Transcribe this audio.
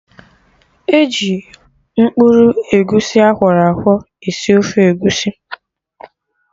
E ji mkpụrụ egusi akọrọ akwọ esi ofe egusi